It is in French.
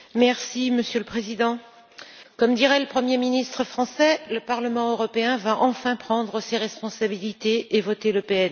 Monsieur le Président, comme dirait le premier ministre français, le Parlement européen va enfin prendre ses responsabilités et voter le PNR.